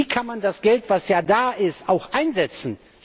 Wie kann man das Geld, das ja da ist, auch einsetzen?